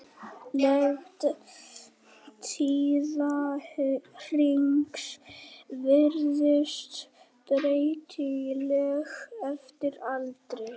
Lengd tíðahrings virðist breytileg eftir aldri.